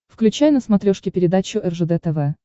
включай на смотрешке передачу ржд тв